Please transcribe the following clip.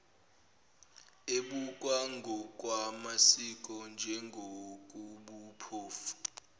ebukwa ngokwamasiko njengokobuphofu